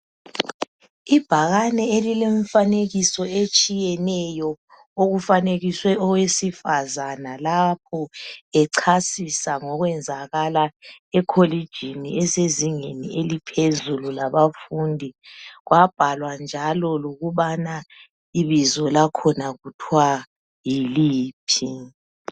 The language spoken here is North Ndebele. Ibhakane elilemifanekiso etshiyeneyo okufanekiswe owesifazana lapho echasisa ngokwenzakala ekholegini elisezingeni eliphezulu labafundi kwabhalwa njalo kubana ibizo lakhona kuthwa yiliphi